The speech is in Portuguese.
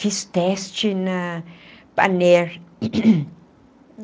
Fiz teste na Panair.